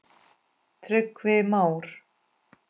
Tryggvi Már.